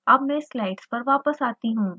अब मैं स्लाइड्स पर वापस आती हूँ